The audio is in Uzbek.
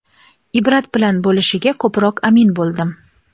ibrat bilan bo‘lishiga ko‘proq amin bo‘ldim….